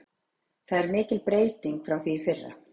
Það er mikil breyting frá því í fyrra.